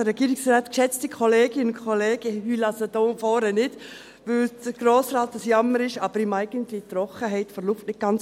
Ich heule also nicht hier vorne, weil der Grosse Rat am Jammern ist, aber ich vertrage die Trockenheit der Luft nicht ganz.